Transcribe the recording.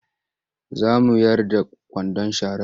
Za mu yar da kwandon sharar.